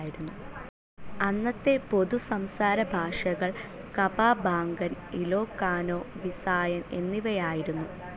അന്നത്തെ പൊതു സംസാരഭാഷകൾ കപാമ്പാങ്കൻ, ഇലോകാനൊ, വിസായൻ എന്നിവയായിരുന്നു.